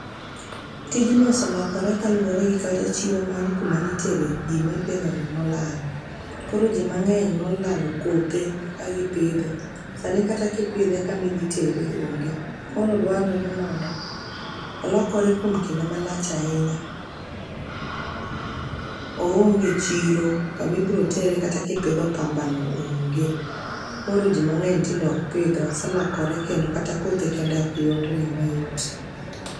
Tijni oselokore kaluore gi kata chiro mar kuma nitero gima ipidhoni nolal. Koro ji mang'eny nolalo kothe ka gi pidhe sani kata ki pidhe kama idhi tere oonge koro dwarore mondo olokore kuom kinde malach ahinya. Oonge echiro kama ibiro tere kata kipidho pambano onge. Koro ji mang'eny tinde ok pidhe oselokore kendo kata kothe kende ok yudre eyoo mayot.